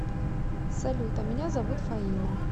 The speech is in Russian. салют а меня зовут фаина